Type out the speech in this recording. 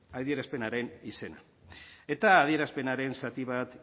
adierazpenaren izena eta adierazpenaren zati bat